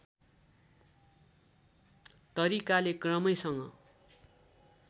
तरिकाले क्रमैसँग